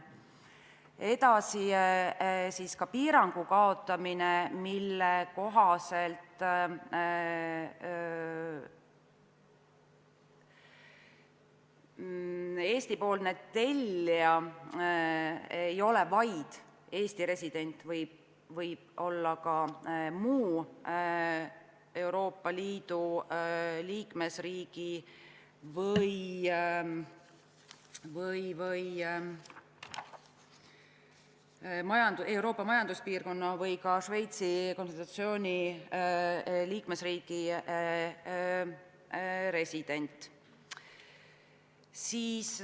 Edasi, kaotatakse piirang, mille kohaselt Eesti-poolne tellija ei ole vaid Eesti resident, see võib olla ka muu Euroopa Liidu liikmesriigi, Euroopa Majanduspiirkonna või ka Šveitsi Konföderatsiooni resident.